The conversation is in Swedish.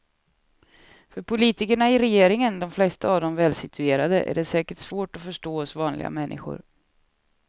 För politikerna i regeringen, de flesta av dem välsituerade, är det säkert svårt att förstå oss vanliga människor.